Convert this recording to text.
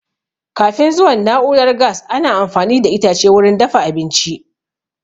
Kafin zuwan na'urar gas, ana amfani da itace wurin dafa abinci